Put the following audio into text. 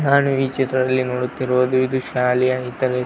ನಾನು ಈ ಚಿತ್ರದಲ್ಲಿ ನೋಡುತ್ತಿರುವುದು ಇದು ಶಾಲೆಯ ಇತರೆ.